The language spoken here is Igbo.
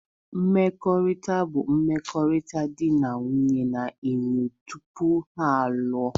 Mkpakọrịta bụ mmekọrịta di na nwunye na-enwe tupu ha alụọ